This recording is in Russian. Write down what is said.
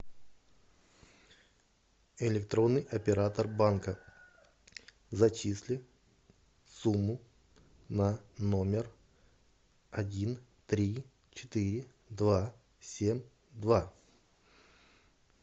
электронный оператор банка зачисли сумму на номер один три четыре два семь два